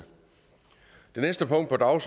og